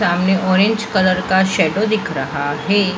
सामने orange colour का shadow दिख रहा है।